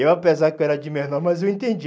Eu, apesar que eu era de menor, mas eu entendi.